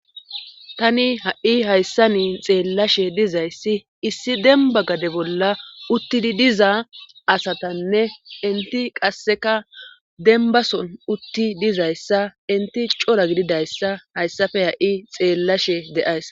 tani ha7i hayssa niin xeellashe dizayssi issi demba gade bolla uttidi diza asatanne inti qasseka dembason utti dizayssa inti cora gididayssa hayssafe ha7i xeellashe deays